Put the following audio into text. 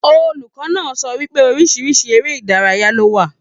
Olùkọ náà sọ wípé orísirísi eré ìdárayá lo wà.